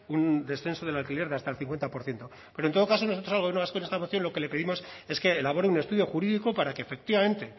un descenso del alquiler de hasta el cincuenta por ciento pero en todo caso nosotros al gobierno vasco en esta moción lo que le pedimos es que elabore un estudio jurídico para que efectivamente